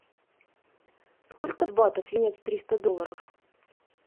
сколько батов менять триста долларов